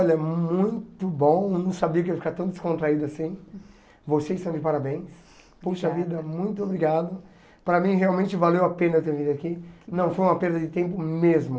Olha, muito bom, não sabia que ia ficar tão descontraído assim, vocês estão de parabéns, poxa vida, muito obrigado, para mim realmente valeu a pena ter vindo aqui, não foi uma perda de tempo mesmo.